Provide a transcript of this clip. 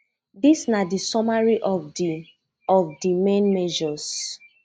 dis na di summary of di of di main measures